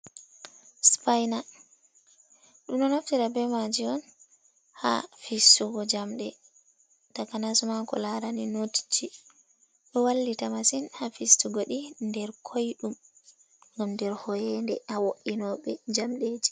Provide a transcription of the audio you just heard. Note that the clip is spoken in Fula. Supaina, ɗumɗu naftira be maaji on ha fissugo jamɗe takanama ko larani notji, ɗo wallita masin ha fistugo ɗi nder koyɗum, ngam nder hoyinde ha wo’inoɓe jamɗeji.